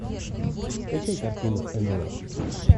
скачай картину нло